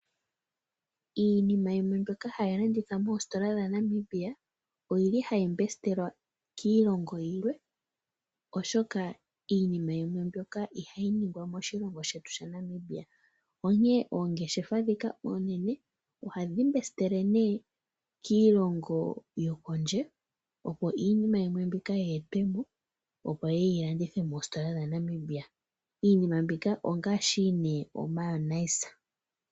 Iinima yimwe mbyoka hayi landithwa moositola dhaNamibia ohayi mbesitelwa kiilongo yilwe, oshoka iinima yimwe mbyoka ihayi ningwa moshilongo shetu shaNamibia, onkene oongeshefa ndhika oonene ohadhi mbesitele nduno kiilongo yokondje, opo iinima mbika yimwe yi etwe mo, opo yi landithwe moositola dhaNamibia. Iinima mbika ongaashi nduno omayonaisa.